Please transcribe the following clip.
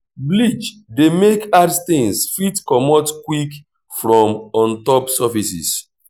bleach dey make hard stains fit comot quick from ontop surfaces